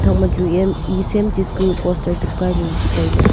phang ma chu eya am e same poster chepkai ley tailey.